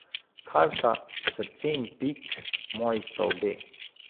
Karta srce in pik, moji sta obe.